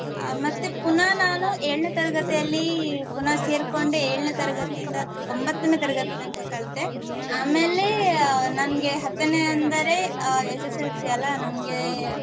ಆ ಮತ್ತೆ ಪುನಾ ನಾನು ಏಳನೇ ತರಗತಿಯಲ್ಲಿ ಪುನಾ ಸೇರ್ಕೊಂಡೆ ಏಳನೇ ತರಗತಿಯಿಂದ ಒಂಭತ್ತನೆ ತರಗತಿ ತನಕ ಕಲ್ತೆ ಆಮೇಲೆ ನಂಗೆ ಹತ್ತನೇ ಅಂದರೆ ಅಹ್ SSLC ಅಲಾ ನಮ್ಗೆ